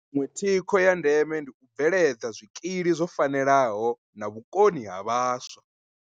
Iṅwe thikho ya ndeme ndi u bveledza zwikili zwo fanelaho na vhukoni ha vhaswa.